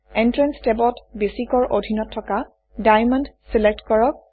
entrance টেবত basic ৰ অধীনত থকা ডায়ামণ্ড চিলেক্ট কৰক